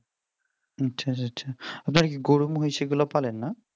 আচ্ছা আচ্ছা আপনারা কি গরু-মহিষ এইগুলো পালেন না?